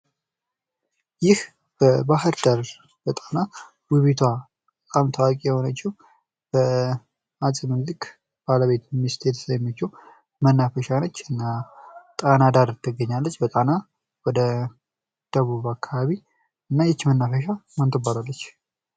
ይህ በባህርዳር በጣና ውቢቷ ታዋቂ በሆነችው በ አፄ ሚኒልክ ሚስት የተሰየመችው መናፈሻ ነች። እና ጣና ዳር ወደ ደቡብ ትገኛለች። እና ይች መናፈሻ ማን ትባላለች?